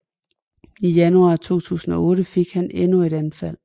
I januar 2008 fik han endnu et anfald